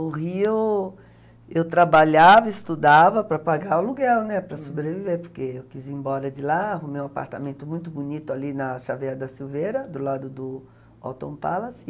No Rio, eu trabalhava, estudava para pagar o aluguel, né, para sobreviver, porque eu quis ir embora de lá, arrumar um apartamento muito bonito ali na Chaveira da Silveira, do lado do Alton Palace.